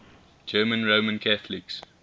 german roman catholics